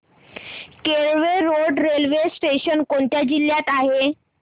Kelve road railway station कोणत्या जिल्ह्यात आहे